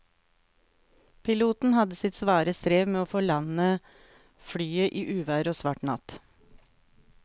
Piloten hadde sitt svare strev med å få landet flyet i uvær og svart natt.